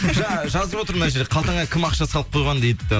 жаңа жазып отыр мына жерде қалтаңа кім ақша салып қойған дейді